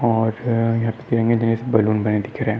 और दिख रहे है।